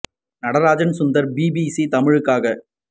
Natarajan Sundar BBC தமிழுக்காக